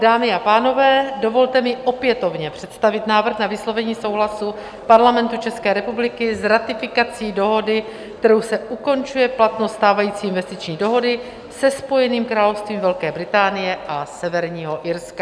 Dámy a pánové, dovolte mi opětovně představit návrh na vyslovení souhlasu Parlamentu České republiky s ratifikací dohody, kterou se ukončuje platnost stávající investiční dohody se Spojeným královstvím Velké Británie a Severního Irska.